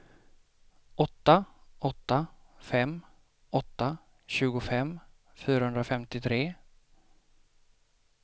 åtta åtta fem åtta tjugofem fyrahundrafemtiotre